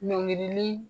Ɲɔngirili